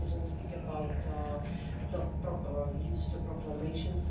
We didn't speak about the use of proclamations.